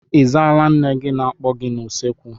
Ị zaala nne gị na-akpọ gị n'usekwu?